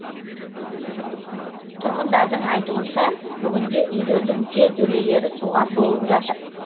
тұрғындардың айтуынша бүгінде үйлердің жертөлелері суға толып жатыр